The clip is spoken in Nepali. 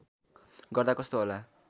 गर्दा कस्तो होला